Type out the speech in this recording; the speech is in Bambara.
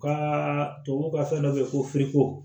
U ka tubabuw ka fɛn dɔ be yen ko